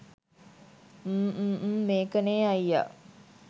ම් ම් ම් මේකනේ අයියා